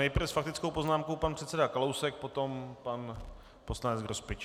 Nejprve s faktickou poznámkou pan předseda Kalousek, potom pan poslanec Grospič.